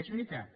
és veritat